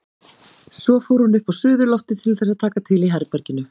Svo fór hún upp á suðurloftið til þess að taka til í herberginu.